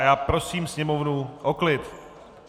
A já prosím sněmovnu o klid.